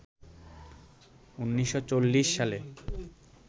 ১৯৪০ সালে